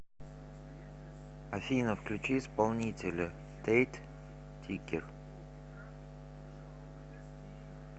афина включи исполнителя тэйт тикер